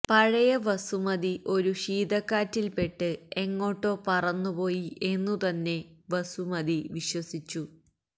പഴയ വസുമതി ഒരു ശീതക്കാറ്റിൽപ്പെട്ട് എങ്ങോട്ടോ പറന്നുപോയി എന്നു തന്നെ വസുമതി വിശ്വസിച്ചു